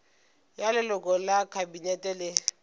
ya leloko la kabinete le